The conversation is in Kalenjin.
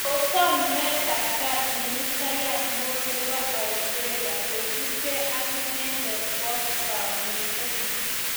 Kosom nyoetab gat ministayat neo ne bo Australia kosibgee ak inendet kwo kamunget.